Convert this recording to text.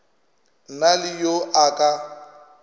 na le yo a ka